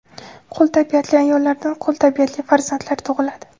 Qul tabiatli ayollardan qul tabiatli farzandlar tug‘iladi.